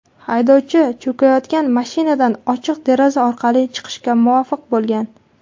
Haydovchi cho‘kayotgan mashinadan ochiq deraza orqali chiqishga muvaffaq bo‘lgan.